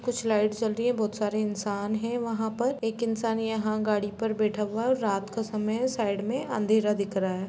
कुछ लाइट्स जल रही है बहुत सारे इन्सान है वहाँ पर एक इन्सना यहाँ गाड़ी पर बैठा हुआ और रात का समय है साइड में अँधेरा दिख रहा है।